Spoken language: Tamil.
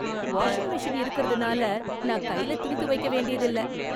வாஷிங் மெஷின் இருக்கிறதுனால நான் கையில துணி துவைக்க வேண்டியதில்லை.